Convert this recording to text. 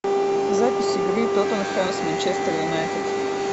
запись игры тоттенхэм с манчестер юнайтед